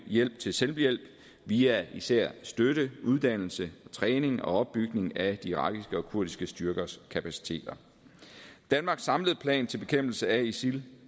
hjælp til selvhjælp via især støtte uddannelse træning og opbygning af de irakiske og kurdiske styrkers kapaciteter danmarks samlede plan til bekæmpelse af isil